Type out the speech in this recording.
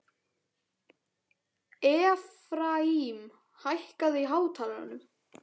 Efraím, hækkaðu í hátalaranum.